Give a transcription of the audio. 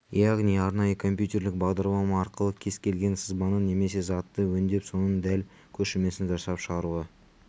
яғни арнайы компютерлік бағдарлама арқылы кез келген сызбаны немесе затты өңдеп соның дәл көшірмесін жасап шығаруға